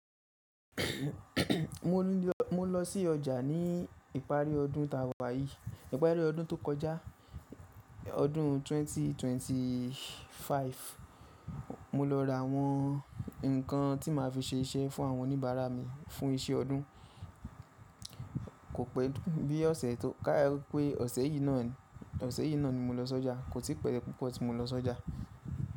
Mo lọ sí ọjà ní ìparí ọdún tàwà yìí, ìparí ọdún tó kọjá, ọdún 2025. Mo lọ ra àwọn nǹkan tí màá fi ṣe iṣẹ́ fún àwọn oníbàárà mi, fún iṣẹ́ ọdún. Kò pẹ́ bí ọ̀sẹ̀ tó ká pé ọ̀sẹ̀ yìí náà ni mo lọ sí ọjà. Kò tí pẹ́ púpọ̀ tí mo lọ s'ọjà.